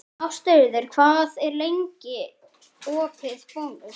Ástráður, hvað er lengi opið í Bónus?